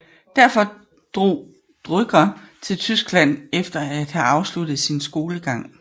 Derfor drog Drucker til Tyskland efter at have afsluttet sin skolegang